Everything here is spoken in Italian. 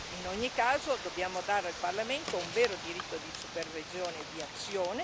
In ogni caso, dobbiamo dare al Parlamento un vero diritto di supervisione e di azione.